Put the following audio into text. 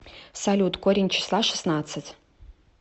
салют корень числа шестнадцать